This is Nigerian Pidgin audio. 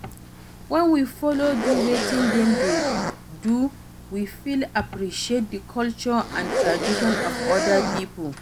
When we follow do wetin dem dey do we fit appreciate di culture and traditon of oda pipo